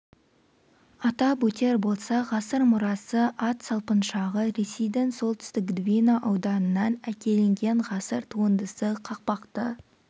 атап өтер болсақ ғасыр мұрасы ат салпыншағы ресейдің солтүстік двина ауданынан әкелінген ғасыр туындысы қақпақты